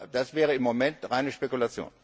Das wäre im Moment reine Spekulation.